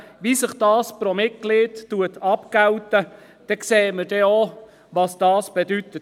Daran, wie diese pro Mitglied abgegolten werden, sehen wir auch, was es bedeutet.